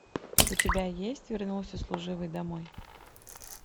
у тебя есть вернулся служивый домой